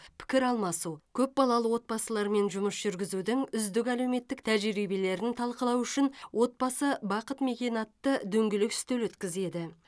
пікір алмасу көп балалы отбасылармен жұмыс жүргізудің үздік әлеуметтік тәжірибелерін талқылау үшін отбасы бақыт мекені атты дөңгелек үстел өткізеді